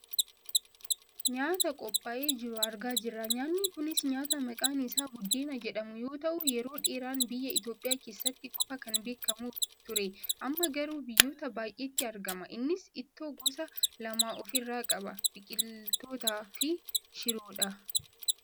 Nyaata qophaa'ee jiru argaa jirra. Nyaanni kunis nyaata maqaan isaa buddeena jedhamu yoo ta'u yeroo dheeraan biyya Itoopiyaa keessatti qofa kan beekkamu ture, amma garuu biyyoota baayyeetti argama. Innis ittoo gosa lama of irraa qaba; biqiltootaa fi shiroodha.